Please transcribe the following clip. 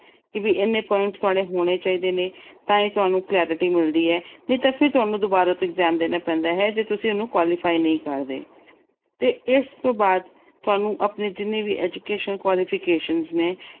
ਵੀ ਇੰਨੇ points ਤੁਹਾਡੇ ਹੋਣੇ ਚਾਹੀਦੇ ਨੇ, ਤਾਂ ਹੀ ਤੁਹਾਨੂੰ clarity ਮਿਲਦੀ ਆ। ਨਹੀਂ ਤਾਂ ਤੁਹਾਨੂੰ ਫਿਰ ਦੁਬਾਰਾ ਤੋਂ exam ਦੇਣਾ ਪੈਂਦਾ ਆ ਜੇ ਤੁਸੀਂ ਉਸ ਨੂੰ qualify ਨਹੀਂ ਕਰਦੇ ਤੇ ਇਸ ਤੋਂ ਬਾਅਦ ਤੁਹਾਨੂੰ ਆਪਣੇ ਜਿੰਨੇ ਵੀ educational qualification ਨੇ